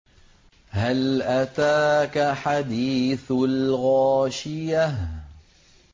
هَلْ أَتَاكَ حَدِيثُ الْغَاشِيَةِ